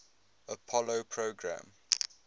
apollo program